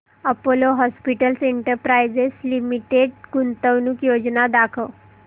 Apollo Hospitals Enterprise Limited गुंतवणूक योजना दाखव